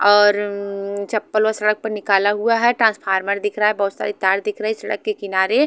और हम्म्म्म चपल वो सड़क पर निकाला हुआ है ट्रांसफार्मर दिखरा है बोहोत सारी तार दिख रही सड़क के किनारे --